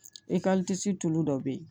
tulu dɔ be yen